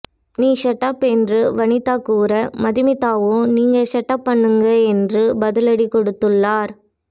நீ ஷட்ஆப் என்று வனிதா கூற மதுமிதாவோ நீங்க ஷட்அப் பண்ணுங்க என்று பதிலடி கொடுத்துள்ளார்